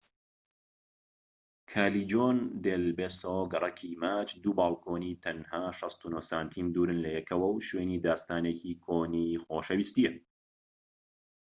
کالیجۆن دێل بێسۆ گەڕەکی ماچ. دوو بالکۆنی تەنها ٦٩ سانتیم دوورن لەیەکەوە و شوێنی داستانێکی کۆنی خۆشەویستیە